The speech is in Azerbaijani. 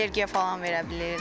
Allergiya falan verə bilir.